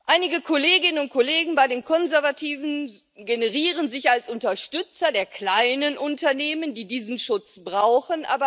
Einige Kolleginnen und Kollegen bei den Konservativen gerieren sich als Unterstützer der kleinen Unternehmen, die diesen Schutz brauchen.